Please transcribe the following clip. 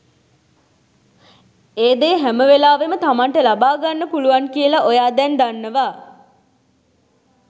ඒ දේ හැමවෙලාවෙම තමන්ට ලබා ගන්න පුළුවන් කියල ඔයා දැන් දන්නවා